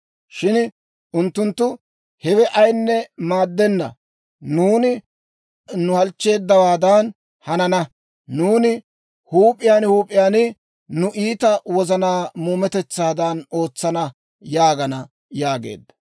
Shin unttunttu, ‹Hewe ayinne maaddenna! Nuuni nu halchcheeddawaadan hanana; nuuni huup'iyaan huup'iyaan nu iita wozanaa muumetetsaadan ootsana› yaagana» yaageedda.